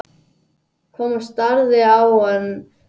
Thomas starði á hann án þess að sjá hann.